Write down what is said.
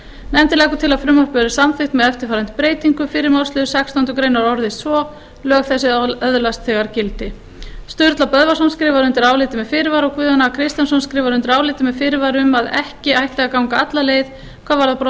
nefndin leggur til að frumvarpið verði samþykkt með eftirfarandi breytingu fyrri málsliður sextándu grein orðist svo lög þessi öðlast þegar gildi sturla böðvarsson skrifar undir álitið með fyrirvara og guðjón a kristjánsson skrifar undir álitið með fyrirvara um að ekki ætti að ganga alla leið hvað varðar